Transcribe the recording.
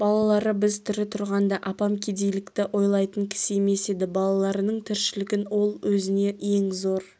балалары біз тірі тұрғанда апам кедейлікті ойлайтын кісі емес еді балаларының тіршілігін ол өзіне ең зор